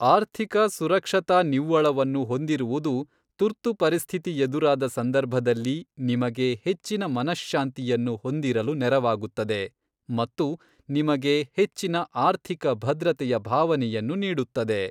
ಆರ್ಥಿಕ ಸುರಕ್ಷತಾ ನಿವ್ವಳವನ್ನು ಹೊಂದಿರುವುದು ತುರ್ತು ಪರಿಸ್ಥಿತಿ ಎದುರಾದ ಸಂದರ್ಭದಲ್ಲಿ ನಿಮಗೆ ಹೆಚ್ಚಿನ ಮನಶ್ಶಾಂತಿಯನ್ನು ಹೊಂದಿರಲು ನೆರವಾಗುತ್ತದೆ ಮತ್ತು ನಿಮಗೆ ಹೆಚ್ಚಿನ ಆರ್ಥಿಕ ಭದ್ರತೆಯ ಭಾವನೆಯನ್ನು ನೀಡುತ್ತದೆ.